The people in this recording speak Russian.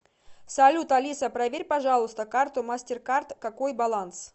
салют алиса проверь пожалуйста карту мастеркард какой баланс